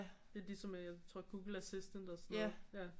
Lidt ligesom jeg tror Google Assistant og sådan noget